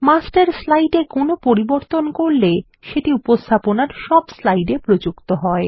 master slide কোনো পরিবর্তন করলে সেটি উপস্থাপনার সব স্লাইডে প্রযুক্ত হয়